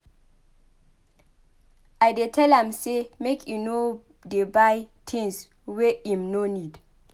I dey tell am sey make e no dey buy tins wey im nor need.